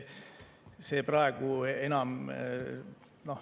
See praegu enam …